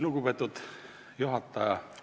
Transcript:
Lugupeetud juhataja!